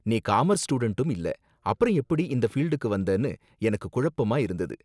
நீ காமர்ஸ் ஸ்டூடண்டும் இல்ல, அப்புறம் எப்படி இந்த ஃபீல்டுக்கு வந்தனு எனக்கு குழப்பமா இருந்தது.